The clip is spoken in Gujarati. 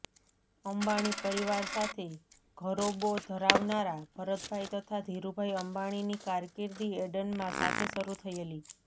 અંબાણી પરિવાર સાથે ઘરોબો ધરાવનારા ભરતભાઈ તથા ધીરુભાઈ અંબાણીની કારકિર્દી એડનમાં સાથે શરૂ થયેલી